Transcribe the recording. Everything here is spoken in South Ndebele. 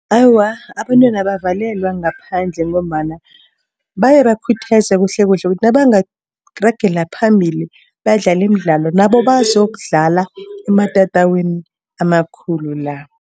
Awa, abantwana abavalelwa ngaphandle ngombana bayabakhuthaza kuhlekuhle ukuthi nabangaragela phambili badlale imidlalo nabo bazokudlala ematatawini amakhulu la.